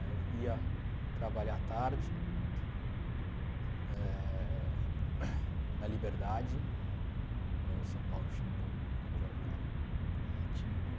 Aí eu ia trabalhar à tarde, eh na Liberdade, no São Paulo Shimbum, um jornal étnico.